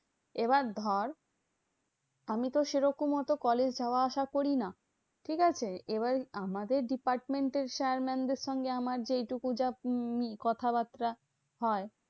এবার ধর আমিতো সেরকম অত college যাওয়া আসা করি না, ঠিকাছে? এবার আমাদের department এর sir mam দের সঙ্গে আমার যেইটুকু যা field কথাবার্তা হয়